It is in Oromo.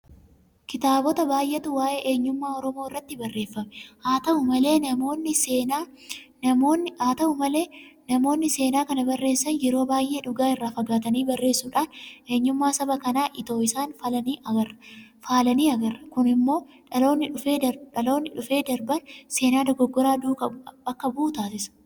Kitaabota baay'eetu waa'ee eenyummaa Oromoo irratti barreeffame. Haata'u malee namoonni seenaa kana barreessan yeroo baay'ee dhugaa irraa fagaatanii barreessuudhaan eenyummaa saba kanaa itoo isaan faalanii agarra. kun immoo dhaloonni dhufee darbaan seenaa dogoggoraa duukaa akka bu'u taasisa.